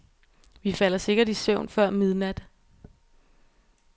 Vi falder sikkert i søvn før midnat.